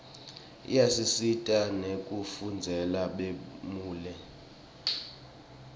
iyasisita nekufundzela bumeli